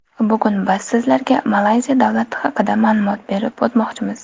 Bugun biz sizlarga Malayziya davlati haqida ma’lumot berib o‘tmoqchimiz.